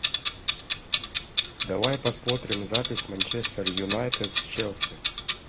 давай посмотрим запись манчестер юнайтед с челси